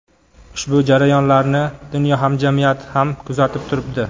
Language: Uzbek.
Ushbu jarayonlarni dunyo hamjamiyati ham kuzatib turibdi.